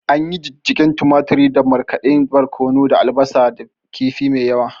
Anyi Jijjigen tumaturin da markaɗadɗen barkono da albasa da kifi mai yawa